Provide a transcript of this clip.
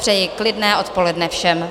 Přeji klidné odpoledne všem.